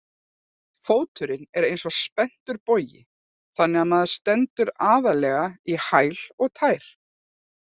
Fóturinn er eins og spenntur bogi þannig að maður stendur aðallega í hæl og tær.